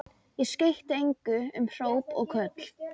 Ég skeytti engu um hróp og köll.